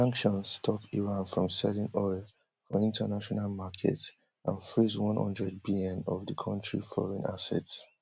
The sanctions stop iran from selling oil for international markets and freeze one hundred bn of the country foreign assets